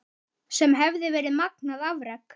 Sem hefði verið magnað afrek.